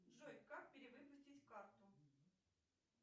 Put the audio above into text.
джой как перевыпустить карту